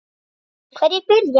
Hverjir byrja?